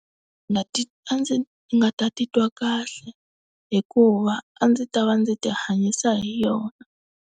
Nga ti a ndzi nga ta titwa kahle hikuva a ndzi ta va ndzi ti hanyisa hi yona.